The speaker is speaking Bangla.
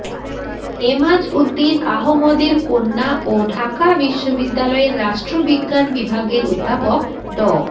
এমাজউদ্দীন আহমদের কন্যা ও ঢাকা বিশ্ববিদ্যালয়ের রাষ্ট্রবিজ্ঞান বিভাগের অধ্যাপক ড